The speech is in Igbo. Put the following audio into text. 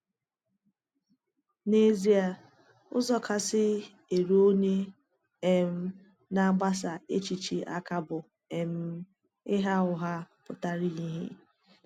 N’ezie, ụzọ kasị eru onye um na-agbasa èchìchè aka bụ um ịgha ụgha pụtara ìhè.